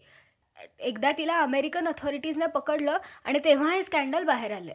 लन~ अं लांचडा पासून दूर होती कि नाही नाही, काय त्या रांडया~ रांडया राखोबाला कसा पोरीसला घरकुंडी खेळ आवडला.